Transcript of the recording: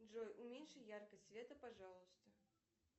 джой уменьши яркость света пожалуйста